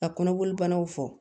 Ka kɔnɔboli banaw fɔ